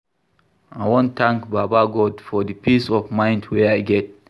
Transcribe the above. I wan tank baba God for di peace of mind wey I get.